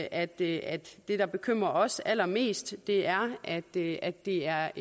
at det at det der bekymrer os allermest er at det er det er